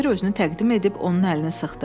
müxbir özünü təqdim edib onun əlini sıxdı.